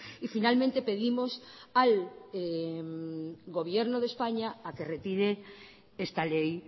y finalmente pedimos al gobierno de españa a que retire esta ley